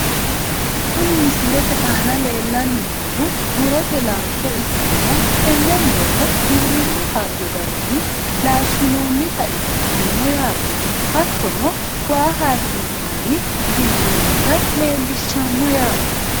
Kuni misilete aana lellanni noohu murote laalcho ikkanna tenne murono giwirinnu hayyo garinni laashshinoonnita ikkitanno yaate . hattono waa haakkinsanni hee'noonita leelishsshanno yaate.